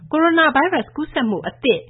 ကိုရိုနာဗိုင်းရပ်စ် ကူးစက်မှုအသစ်